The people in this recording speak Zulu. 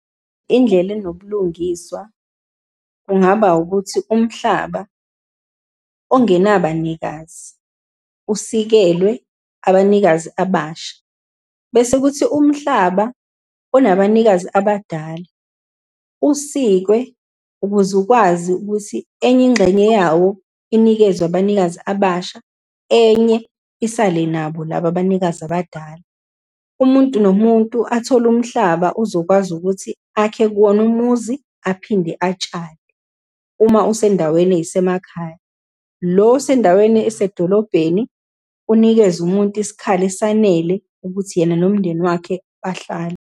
Indlela enobulungiswa kungaba ukuthi, umhlaba ongenabanikazi usikelwe abanikazi abasha. Bese kuthi umhlaba onabanikazi abadala, usikwe ukuze ukwazi ukuthi enye ingxenye yawo inikezwe abanikazi abasha, enye isale nabo laba abanikazi abadala. Umuntu nomuntu athole umhlaba ozokwazi ukuthi akhe kuwona umuzi, aphinde atshale uma usendaweni ey'semakhaya. Lo osendaweni esedolobheni unikeze umuntu isikhala esanele ukuthi yena nomndeni wakhe bahlale.